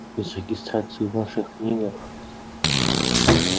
без регистрации в ваших книгах